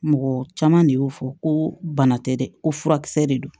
Mɔgɔ caman de y'o fɔ ko bana tɛ dɛ ko furakisɛ de don